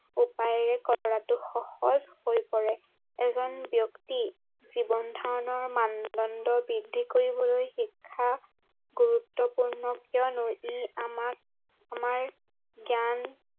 উপায়েৰে কৰাতো সহজ হৈ পৰে এজন ব্য়ক্তি জীৱনধাৰণৰ মানদন্দ বৃদ্ধি কৰিবলৈ শিক্ষা গুৰুত্ৱপূৰ্ণ কিয়নো ই আমাক আমাৰ জ্ঞান